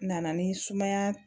Nana ni sumaya